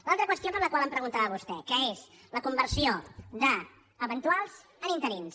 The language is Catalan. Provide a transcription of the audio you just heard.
l’altra qüestió per la qual em preguntava vostè que és la conversió d’eventuals en interins